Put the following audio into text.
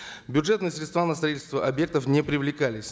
бюджетные средства на строительство объектов не привлекались